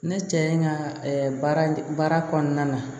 Ne cɛ in ka baara kɔnɔna na